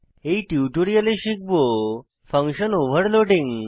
এই টিউটোরিয়ালে শিখব ফাঙ্কশন ওভারলোডিং